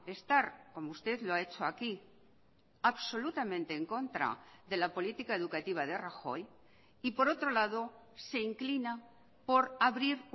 estar como usted lo ha hecho aquí absolutamente en contra de la política educativa de rajoy y por otro lado se inclina por abrir